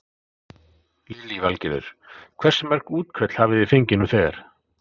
Lillý Valgerður: Hversu mörg útköll hafi þið fengið nú þegar?